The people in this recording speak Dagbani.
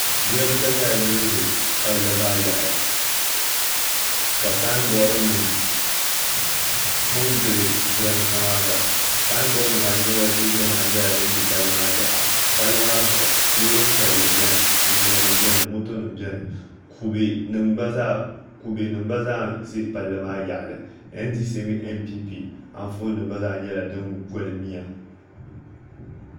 Jiranbiisa nyɛla dun ʒɛ palli yaɣali ka sanbood nim tu n gili jiranbiisa maa zaa sanbood nimaa ayi gba nyɛla din bɛ palli maa yaɣa palli maa zuɣu loori piɛlli biɛni ninsal nim biɛni moto nim biɛni kubɛ nim gba zaa ʒi palli maa yaɣali ndc mini npp Anfooni gba zaa nyɛla din goli miya